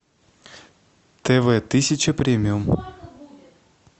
тв тысяча премиум